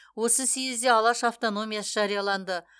осы съезде алаш автономиясы жарияланды